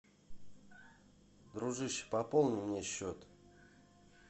дружище пополни мне счет